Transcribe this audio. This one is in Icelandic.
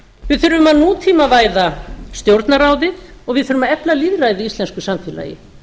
við þurfum að nútímavæða stjórnarráðið og við þurfum að efla lýðræðið í íslensku samfélagi